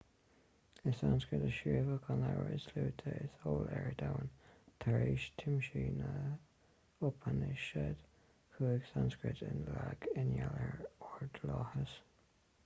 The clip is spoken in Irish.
i sanscrait a scríobhadh an leabhar is luaithe is eol ar domhan tar éis tiomsú na n-upainisead chuaigh sanscrait i léig i ngeall ar ordlathas